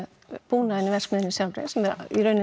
búnaðinn í verksmiðjunni sjálfri sem